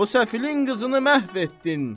O səfilin qızını məhv etdin.